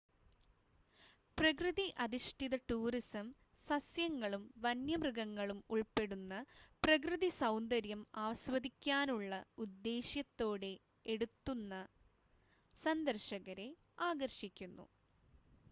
പ്രകൃതി-അധിഷ്ഠിത tourism സസ്യങ്ങളും വന്യമൃഗങ്ങളും ഉൾപ്പെടുന്ന പ്രകൃതി സൗന്ദര്യം ആസ്വദിക്കാനുള്ള ഉദ്ദേശ്യത്തോടെ എടുത്തുന്ന സന്ദർശകരെ ആകർഷിക്കുന്നു